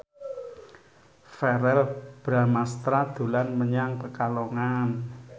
Verrell Bramastra dolan menyang Pekalongan